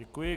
Děkuji.